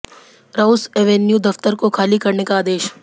Rouse Avenue दफ्तर को खाली करने का आदेश